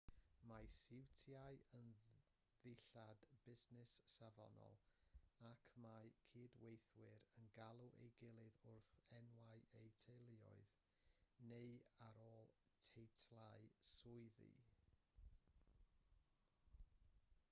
mae siwtiau yn ddillad busnes safonol ac mae cydweithwyr yn galw ei gilydd wrth enwau eu teuluoedd neu yn ôl teitlau swyddi